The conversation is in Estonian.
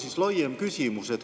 Mul on laiem küsimus.